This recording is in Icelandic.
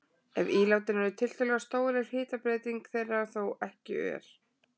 Ef ílátin eru tiltölulega stór er hitabreyting þeirra þó ekki ör.